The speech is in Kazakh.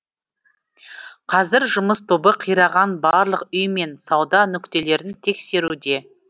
қазір жұмыс тобы қираған барлық үй мен сауда нүктелерін тексеруде